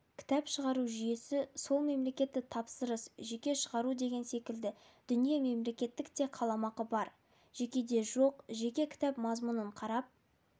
кітап шығару жүйесі сол мемлкеттік тапсырыс жеке шығару деген секілді дүние мемлекеттік те қаламақы бар жекеде жоқ жекеге кітап мазмұнын қарап